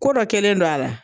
Ko dɔ kɛlen no a la.